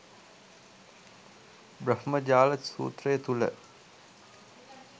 බ්‍රහ්මජාල සූත්‍රය තුළ